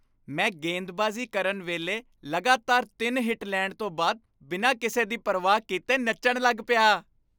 ਮੈਂ ਗੇਂਦਬਾਜ਼ੀ ਕਰਨ ਵੇਲੇ ਲਗਾਤਾਰ ਤਿੰਨ ਹਿੱਟ ਲੈਣ ਤੋਂ ਬਾਅਦ ਬਿਨਾਂ ਕਿਸੇ ਦੀ ਪਰਵਾਹ ਕੀਤੇ ਨੱਚਣ ਲੱਗ ਪਿਆ।